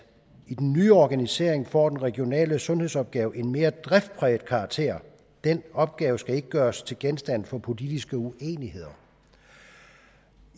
nye organisering får den regionale sundhedsopgave en mere driftspræget karakter den opgave skal ikke gøres til genstand for politiske uenigheder